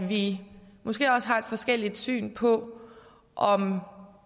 vi måske også har forskelligt syn på om